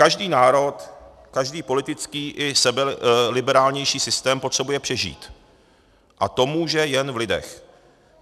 Každý národ, každý politický i sebeliberálnější systém potřebuje přežít a to může jen v lidech.